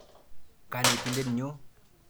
Kanetindet nyo.